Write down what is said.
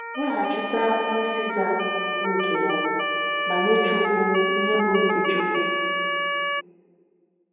“Weghachite ihe César bụ nke ya, ma nye Chukwu ihe bụ nke Chukwu.”